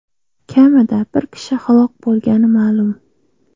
Kamida bir kishi halok bo‘lgani ma’lum .